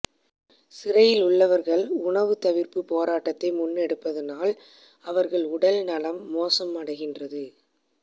சிறையில் உள்ளவர்கள் உணவு தவிர்ப்பு போராட்டத்தை முன்னெடுப்பதானால் அவர்கள் உடல் நலம் மோசமடைகின்றது